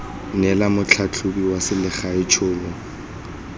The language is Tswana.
neela motlhatlhobi wa selegae tšhono